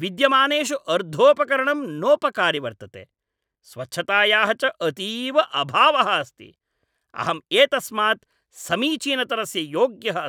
विद्यमानेषु अर्धोपकरणं नोपकारि वर्तते, स्वच्छतायाः च अतीव अभावः अस्ति। अहम् एतस्मात् समीचीनतरस्य योग्यः अस्मि।